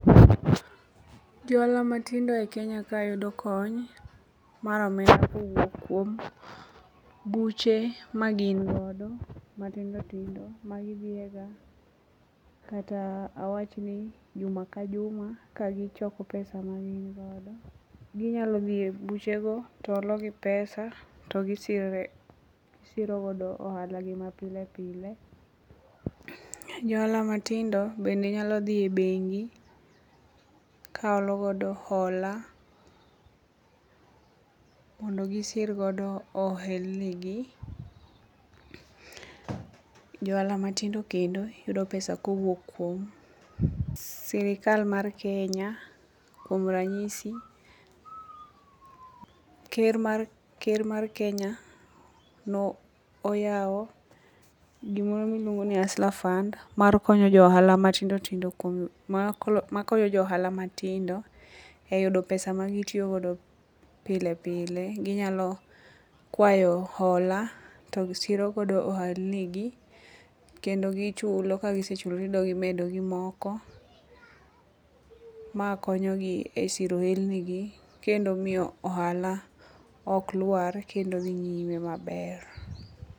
Jo ohala matindo e Kenya ka yudo kony mar omenda kowuok kuom buche magin godo matindotindo magidhiye ga kata awachni juma ka juma kagichoko pesa magin godo ginyalo dhi e buchego to holo gi pesa to gisiro godo ohalagi mapile pile. Jo ohala matindo bende nyalo dhi e bengi ka holo godo hola mondo gisir godo ohelnigi. Jo ohala matindo kendo yudo pesa kowuok kuom sirikal mar Kenya kuom ranyisi ker mar Kenya noyawo gimoro miluongo ni huster fund makonyo jo ohala matindo e yudo pesa magitiyogodo pile pile ginyalo kwayo hola to gisirogodo ohalnigi kendo gichulo kagisechulo tidogo imedogi moko. Ma konyogi e siro ohelnigi kendo miyo ohala ok lwar kendo dhi nyime maber.